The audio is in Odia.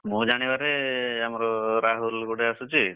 ମୋ ଜାଣିବାରେ ଆମର ରାହୁଲ୍ ଗୋଟେ ଆସୁଛି।